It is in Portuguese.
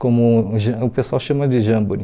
Como o ja o pessoal chama de jamboree.